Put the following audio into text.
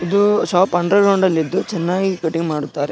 ಇದು shop underground ಅಲ್ಲಿ ಇದ್ದು ಚೆನ್ನಾಗಿ ಕಟಿಂಗ್ ಮಾಡುತ್ತಾರೆ.